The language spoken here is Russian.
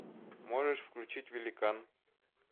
можешь включить великан